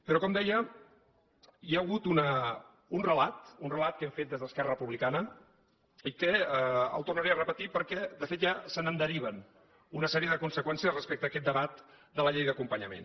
però com deia hi ha hagut un relat un relat que hem fet des d’esquerra republicana i que el tornaré a repetir perquè de fet ja se’n deriven una sèrie de conseqüències respecte a aquest debat de la llei d’acompanyament